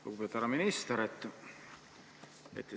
Lugupeetud härra minister!